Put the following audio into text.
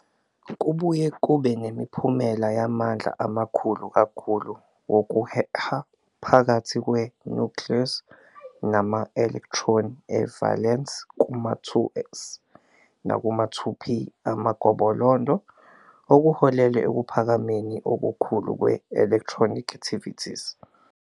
Kubuye kube nemiphumela yamandla amakhulu kakhulu wokuheha phakathi kwe-nucleus nama-elektroni e-valence kuma-2s nakuma-2p amagobolondo, okuholele ekuphakameni okukhulu kwe-electronegativities.